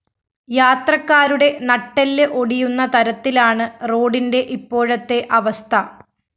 യാത്രക്കാരുടെ നട്ടെല്ല് ഒടിയുന്ന തരത്തിലാണ് റോഡിന്റെ ഇപ്പോഴത്തെ അവസ്ഥ